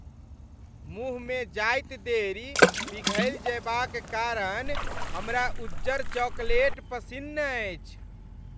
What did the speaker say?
मुँहमे जाइत देरि पिघलि जएबाक कारण हमरा उज्जर चॉकलेट पसिन्न अछि।